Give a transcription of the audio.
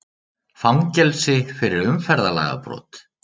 Fangelsi fyrir umferðarlagabrot